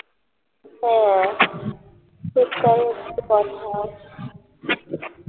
হ্যাঁ সেটাই হচ্ছে কথা